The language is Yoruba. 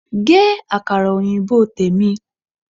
Gé Àkàrà òyìnbó tèmi!